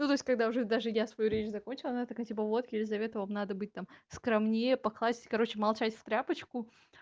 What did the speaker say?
ну то есть когда уже даже я свою речь закончила она такая типа вот елизавета вам надо быть там скромнее покласть короче молчать в тряпочку